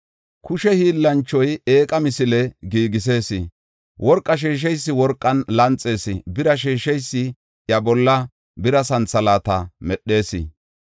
Kushe hiillanchoy eeqa misile giigisees; worqa sheesheysi worqan lanxees; bira sheesheysi iya bolla bira santhalaata medhees.